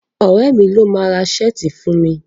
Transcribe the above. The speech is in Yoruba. Ọ̀rẹ́ mi ló máa ra ṣáàtì fún mi.